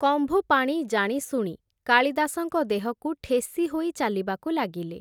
କମ୍ଭୁପାଣି ଜାଣିଶୁଣି, କାଳିଦାସଙ୍କ ଦେହକୁ ଠେସି ହୋଇ ଚାଲିବାକୁ ଲାଗିଲେ ।